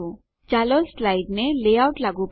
ચાલો સ્લાઇડને લેઆઉટ લાગુ પાડીએ